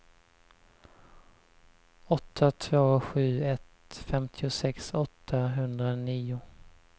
åtta två sju ett femtiosex åttahundranio